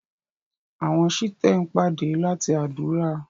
àwọn Shite n pàdà lati ádùrá.